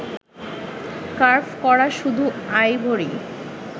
curve করা কিছু ivory